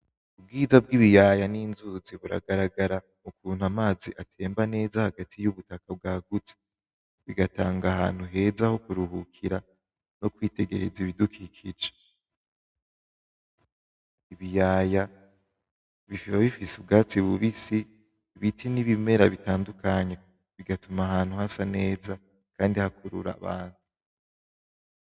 Ubwiza bw'ibiyaya n'inzuzi buragaragara ukuntu amazi atemba neza hagati y'ubutaka bwagutse, bigatanga ahantu heza ho kuruhukira, no kwitegereza ibidukikije. Ibiyaya biba bifise ubwatsi bubisi, ibiti, n'ibimera bitandukanye bigatuma ahantu hasa neza kandi hakurura abantu.